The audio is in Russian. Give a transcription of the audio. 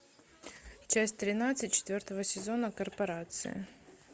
часть тринадцать четвертого сезона корпорация